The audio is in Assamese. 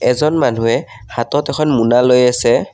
এজন মানুহে হাতত এখন মোনা লৈ আছে।